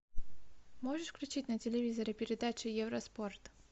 можешь включить на телевизоре передачу евроспорт